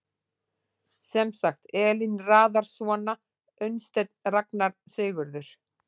Sem sagt, Elín raðar svona: Unnsteinn Ragna Sigurður